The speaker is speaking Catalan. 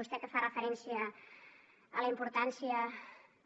vostè que fa referència a la importància